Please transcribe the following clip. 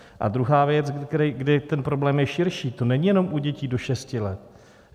A druhá věc, kdy ten problém je širší: to není jenom u dětí do šesti let.